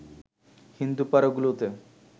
হিন্দুপাড়া গুলোতে